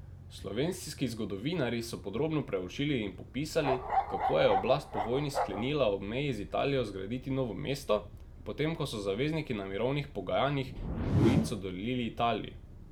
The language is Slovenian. Slovenski zgodovinarji so podrobno preučili in popisali, kako je oblast po vojni sklenila ob meji z Italijo zgraditi novo mesto, potem ko so zavezniki na mirovnih pogajanjih Gorico dodelili Italiji.